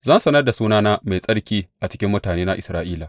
Zan sanar da sunana mai tsarki a cikin mutanena Isra’ila.